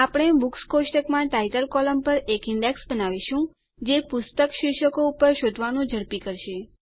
આપણે બુક્સ કોષ્ટકમાં title column પર એક ઈન્ડેક્સ બનાવીશું જે પુસ્તક શીર્ષકો ઉપર શોધવાનું ઝડપી કરશે